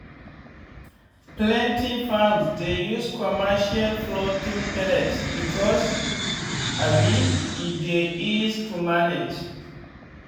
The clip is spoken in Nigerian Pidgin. plenty farms dey use commercial floating pellet because um e dey ease to manage